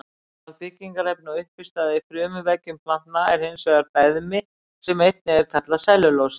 Aðalbyggingarefni og uppistaða í frumuveggjum planta er hins vegar beðmi sem einnig kallast sellulósi.